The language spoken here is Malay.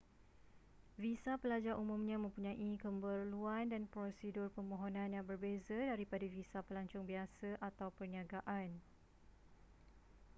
visa pelajar umumnya mempunyai keperluan dan prosedur permohonan yang berbeza daripada visa pelancong biasa atau perniagaan